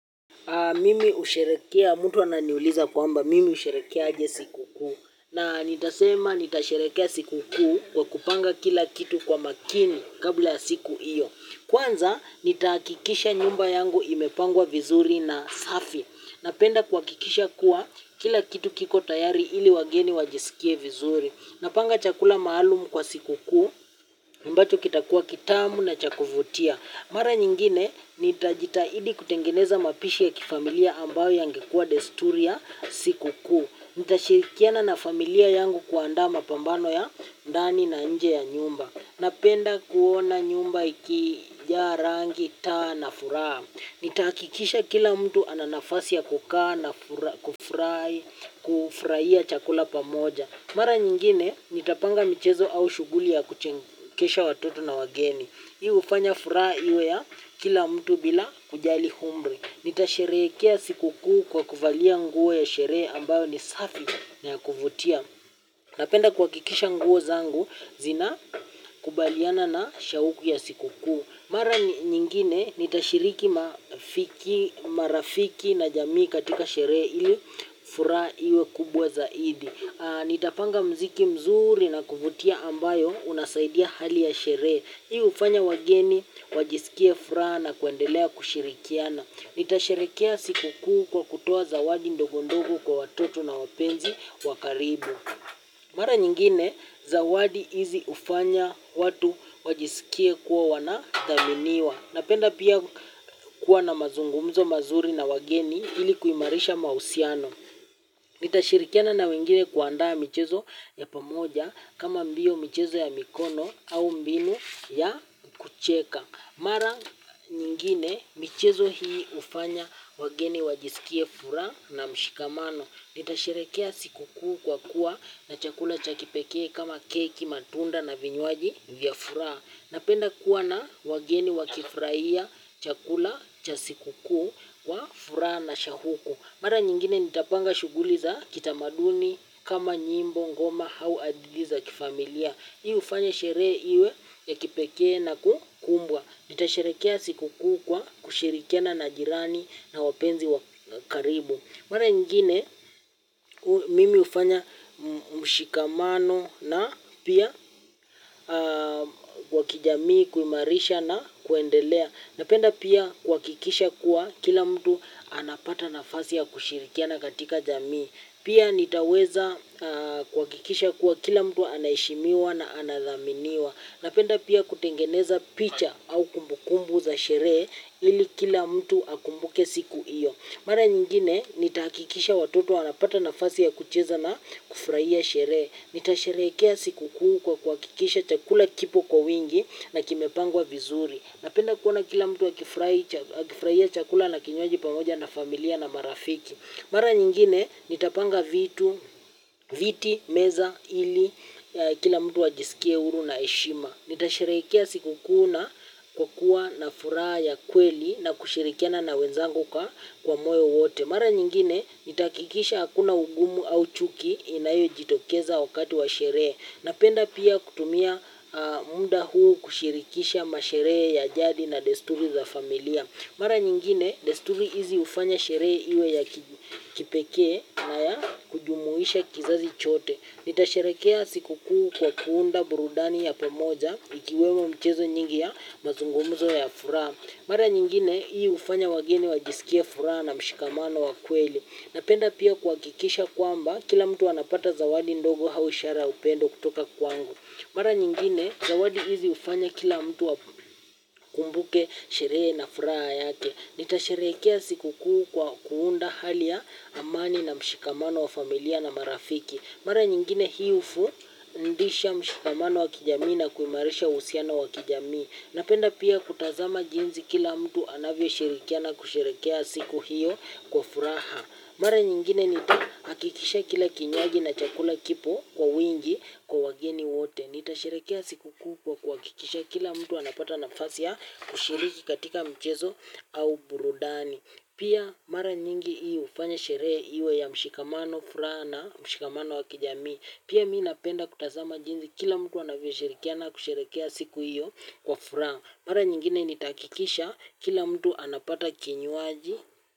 Mimi husherekea, mtu ananiuliza kwamba, mimi husherekea aje siku kuu. Na nitasema nitasherekea siku kuu kwa kupanga kila kitu kwa makini kabla ya siku iyo. Kwanza, nitakikisha nyumba yangu imepangwa vizuri na safi. Napenda kuhakikisha kuwa kila kitu kiko tayari ili wageni wajisikie vizuri. Napanga chakula maalum kwa sikukuu ambacho kitakuwa kitamu na cha kuvutia. Mara nyingine, nitajitahidi kutengeneza mapishi ya kifamilia ambao yangekua desturi ya sikukuu. Nitashirikiana na familia yangu kuandaa mapambano ya ndani na nje ya nyumba. Napenda kuona nyumba ikijaa rangi taa na furaha. Nitahakikisha kila mtu ananafasi ya kukaa na kufurahia chakula pamoja. Mara nyingine nitapanga michezo au shuguli ya kuchekesha watoto na wageni. Hii hufanya furaha iwe ya kila mtu bila kujali umri. Nitasherehekea sikukuu kwa kuvalia nguo ya sherehe ambayo ni safi na ya kuvutia. Napenda kuhakikisha nguo zangu zina kubaliana na shauku ya sikukuu. Mara nyingine nitashiriki mafiki, marafiki na jamii katika sherehe ili furaha iwe kubwa zaidi. Nitapanga muziki mzuri na kuvutia ambayo unasaidia hali ya sherehe. Hii hufanya wageni, wajisikie furaha na kuendelea kushirikiana. Nitasherekea siku kuu kwa kutoa zawadi ndogondogo kwa watoto na wapenzi wakaribu. Mara nyingine, zawadi hizi ufanya watu wajisikie kuwa wanathaminiwa. Napenda pia kuwa na mazungumzo mazuri na wageni ili kuimarisha mausiano nitashirikiana na wengine kuandaa michezo ya pamoja kama mbio michezo ya mikono au mbile ya kucheka. Mara nyingine michezo hii ufanya wageni wajisikie furaha na mshikamano. Nitasherekea siku kuku kwa kuwa na chakula cha kipekee kama keki, matunda na vinyuaji vya furaha. Napenda kuwa na wageni wakifurahia chakula cha siku kuu ya furaha na shauku. Mara nyingine nitapanga shuguli za kita maduni kama nyimbo ngoma hau aditi za chufamilia. Hii ufanya sherehe hiiwe ya kipekee na kukumbwa. Nitasherekea siku kuu kwa kushirikikiana na jirani au wapenzi wa karubu mara nyingine mimi ufanya msikamano na pia kwa kijamii, kuimarisha na kuendelea napenda pia kuwakikisha kuwa kila mtu afasi ya kushirikiana katika jamii. Pia nitaweza kwa kikisha kuwa kila mtu anaeshimiwa na anadhaminiwa. Napenda pia kutengeneza picha au kumbukumbu za sherehe ili kila mtu akumbuke siku iyo. Mara nyingine nitahakikisha watoto wanapata nafasi ya kucheza na kufurahia sherehe. Nitasherekea siku kuu kuwakikisha chakula kipo kwa wingi na kimepangwa vizuri. Napenda kuona kila mtu akifraia chakula na kinywaji pamoja na familia na marafiki. Mar nyingine nitapanga viti meza ili kila mtu ajiskie huru na heshima. Nitasherekea siku kuna kwa kuwa nafuraha ya kweli na kushirikiana na wenzangu kwa moe wote. Mara nyingine nitaakikisha hakuna ugumu au chuki inayo jitokeza wakati wa sherehe. Napenda pia kutumia munda huu kushirikisha masherehe ya jadi na desturi za familia. Mara nyingine desturi hizi ufanya sherehe iwe ya kipekee na ya kujumuisha kizazi chote. Nita sherekea siku kuu kwa kuunda burudani ya pamoja ikiwemo mchezo nyingi ya mazungumuzo ya furaha. Mara nyingine hii ufanya wagine wajisikia furaha na mshikamano wa kweli. Napenda pia kuwakikisha kwamba kila mtu anapata zawadi ndogo haushara upendo kutoka kwangu. Mara nyingine zawadi hizi ufanya kila mtu wakumbuke sherehe na furaha yake. Nita sherekea siku kuu kwa kuunda hali ya amani na mshikamano wa familia na marafiki. Mara nyingine hiufundisha mshikamano wakijamii na kuimarisha usiano wakijamii. Napenda pia kutazama jinzi kila mtu anavyo shirikiana kusherekea siku hiyo kwa furaha. Mara nyingine nitakikisha kila kinywaji na chakula kipo kwa wingi kwa wageni wote. Nitasherekea siku kwa kikisha kila mtu anapata nafasi ya kushiriki katika mchezo au burudani. Pia mara nyingi iyo ufanya sherehe iyo ya mshikamano fura na mshikamano wakijami. Pia mii napenda kutazama jinzi kila mtu anavyoshirikiana kusherekea siku iyo kwa furaha. Mara nyingine nitakikisha kila mtu anapata kinywaji.